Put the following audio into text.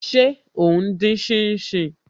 Ṣé o n dín shin shin?